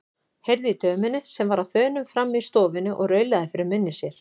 Heyrði í dömunni sem var á þönum frammi í stofunni og raulaði fyrir munni sér.